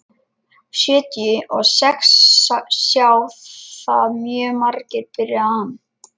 Sjötíu og sex sjá það mjög margir, byrjaði hann.